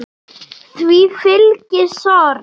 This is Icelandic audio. Því fylgi sorg.